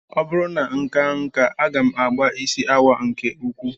Ọ bụrụ na m kaa nkà, aga m agba isi awọ nke ukwuu